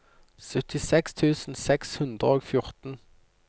syttiseks tusen seks hundre og fjorten